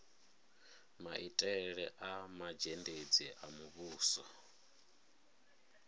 maitele a mazhendedzi a muvhuso